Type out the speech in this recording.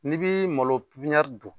N'i bi malo dun